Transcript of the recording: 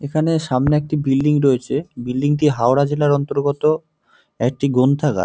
এখানে সামনে একটি বিল্ডিং রয়েছে বিল্ডিংটি হাওড়া জেলার অন্তর্গত একটি গ্রন্থাগার।